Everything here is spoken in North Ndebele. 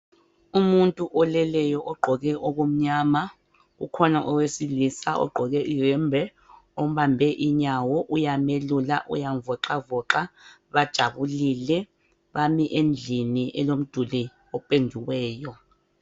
Umuntu oleleyo ogqoke okumnyama kukhona owesilisa ogqoke iyembe ombambe inyawo uyamelula uyamvoxavoxa bajabulile bami endlini elomduli opendiweyo.